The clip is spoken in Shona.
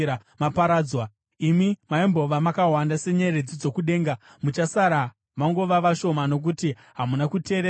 Imi maimbova makawanda senyeredzi dzokudenga muchasara mangova vashoma, nokuti hamuna kuteerera Jehovha Mwari wenyu.